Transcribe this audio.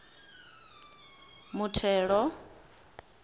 muthelo